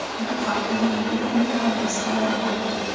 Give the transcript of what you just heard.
Bu haqda menga uning oilasi xabar berdi”.